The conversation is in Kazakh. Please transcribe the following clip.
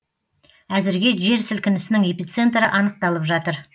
әзірге жер сілкінісінің эпицентрі анықталып жатыр